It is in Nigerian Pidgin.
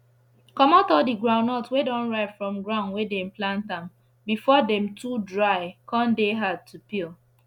comot all the groundnuts wey don ripe from ground wey dem plant am before dem too dry con dey hard to peel